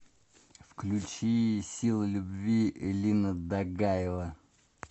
включи сила любви элина дагаева